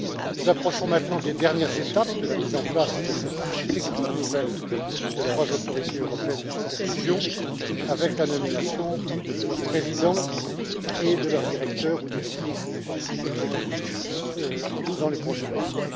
Nous approchons maintenant des dernières étapes de la mise en place de cette architecture nouvelle des trois autorités européennes de supervision, avec la nomination de leurs présidents et de leurs directeurs ou directrices exécutifs dans les prochains jours.